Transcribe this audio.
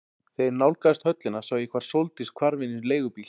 Þegar ég nálgaðist höllina sá ég hvar Sóldís hvarf inn í leigubíl.